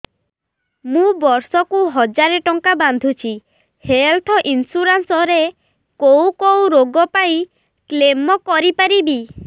ମୁଁ ବର୍ଷ କୁ ହଜାର ଟଙ୍କା ବାନ୍ଧୁଛି ହେଲ୍ଥ ଇନ୍ସୁରାନ୍ସ ରେ କୋଉ କୋଉ ରୋଗ ପାଇଁ କ୍ଳେମ କରିପାରିବି